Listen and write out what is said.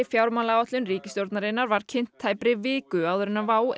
fjármálaáætlun ríkisstjórnarinnar var kynnt tæpri viku áður en WOW